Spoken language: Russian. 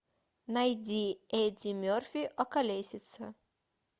найди эдди мерфи околесица